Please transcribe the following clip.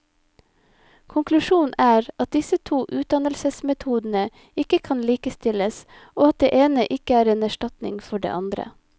Konklusjonen er at disse to utdannelsesmetodene ikke kan likestilles, og at det ene ikke er en erstatning for det andre.